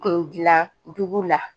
Kun dilan dugu la